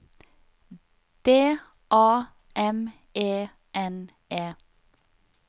D A M E N E